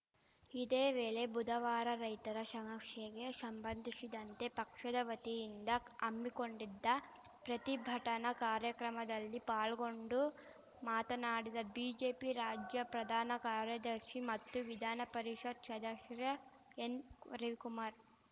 ಇದೇ ವೇಳೆ ಬುಧವಾರ ರೈತರ ಶಮಸ್ಯೆಗೆ ಶಂಬಂಧಿಶಿದಂತೆ ಪಕ್ಷದ ವತಿಯಿಂದ ಹಮ್ಮಿಕೊಂಡಿದ್ದ ಪ್ರತಿಭಟನಾ ಕಾರ್ಯಕ್ರಮದಲ್ಲಿ ಪಾಲ್ಗೊಂಡು ಮಾತನಾಡಿದ ಬಿಜೆಪಿ ರಾಜ್ಯ ಪ್ರಧಾನ ಕಾರ್ಯದರ್ಶಿ ಮತ್ತು ವಿಧಾನಪರಿಷತ್‌ ಶದಸ್ಯ ಎನ್‌ರವಿಕುಮಾರ್‌